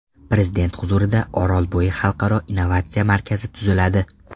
Prezident huzurida Orolbo‘yi Xalqaro innovatsiya markazi tuziladi.